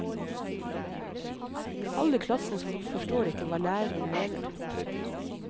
Halve klassen forstår ikke hva læreren mener.